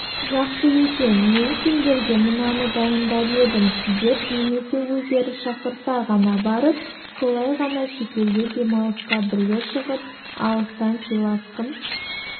жақсы екен мен сендерге мынаны дайындап едім деп немесе өздері шақырса ғана барып солай ғана шетелге демалысқа бірге шығып алыстан сыйласқым